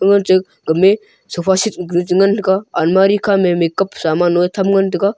game sofa seat ku chengan ga almirah khama makeup samanoi tham ngan taiga.